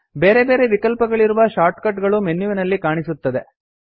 ಬೇರೆ ಬೇರೆ ವಿಕಲ್ಪಗಳಿಗಿರುವ ಶಾರ್ಟ್ಕಟ್ ಗಳು ಮೆನ್ಯುವಿನಲ್ಲಿ ಕಾಣಸಿಗುತ್ತದೆ